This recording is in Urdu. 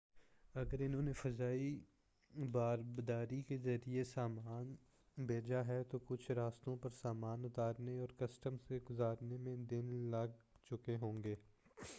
اگر انہوں نے فضائی باربداری کے ذریعے سامان بھیجا ہے تو کچھ راستوں پر سامان اتارنے اور کسٹم سے گزرنے میں دن لگ چکے ہوںگے